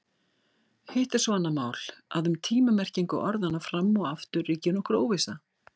Hitt er svo annað mál að um tíma-merkingu orðanna fram og aftur ríkir nokkur óvissa.